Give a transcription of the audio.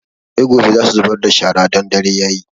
Sai gobe za su zubar da shara don dare yayi